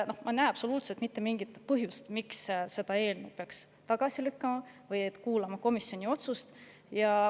Ma ei näe absoluutselt mitte mingisugust põhjust, miks peaks selle eelnõu tagasi lükkama või miks peaks kuulama komisjoni otsust.